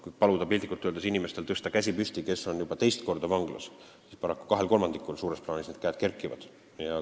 Kui vanglas paluda, et need inimesed tõstaksid käe püsti, kes on juba teist korda vanglas, siis paraku suures plaanis kahel kolmandikul käed kerkivad.